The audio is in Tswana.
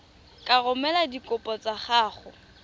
ka romela dikopo tsa gago